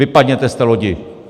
Vypadněte z té lodi!